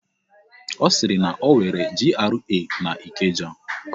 Ọ sịrị na enwere GRA n'Ikeja.